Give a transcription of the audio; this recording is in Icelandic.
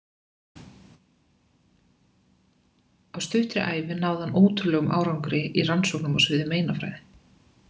Á stuttri ævi náði hann ótrúlegum árangri í rannsóknum á sviði meinafræði.